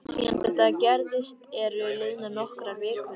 Síðan þetta gerðist eru liðnar nokkrar vikur.